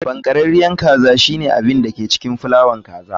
Chiken cake shine abin da ke cikin fulawa kaza ne.